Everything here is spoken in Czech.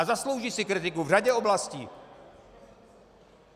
A zaslouží si kritiku v řadě oblastí.